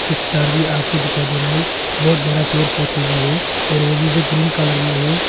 कुछ तार भी आगे दिखाई दे रहा है बहुत ज्यादा पेड़ पौधे भी है और वो भी जो ग्रीन कलर में है।